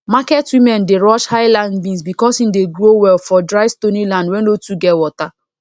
market women dey rush highland beans because e dey grow well for dry stony land wey no too get water